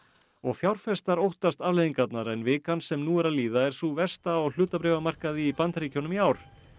og fjárfestar óttast afleiðingarnar en vikan sem nú er að líða er sú versta á hlutabréfamarkaði í Bandaríkjunum í ár